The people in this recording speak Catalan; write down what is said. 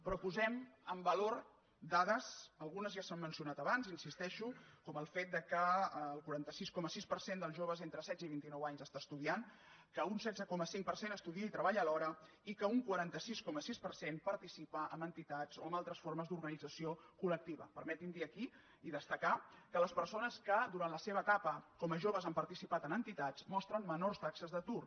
però posem en valor dades algunes ja s’han mencionat abans hi insisteixo com el fet que el quaranta sis coma sis per cent dels joves entre setze i vint inou anys està estudiant que un setze coma cinc per cent estudia i treballa alhora i que un quaranta sis coma sis per cent participa en entitats o en altres formes d’organització colmetin me dir ho aquí i destacar que les persones que durant la seva etapa com a joves han participat en entitats mostren menors taxes d’atur